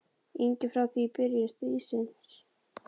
ingi frá því í byrjun stríðsins.